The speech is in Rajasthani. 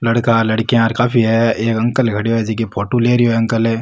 लड़का लडकिया काफी है एक अंकल खड्यो है जेकी की फोटू ले रेहो है अंकल ।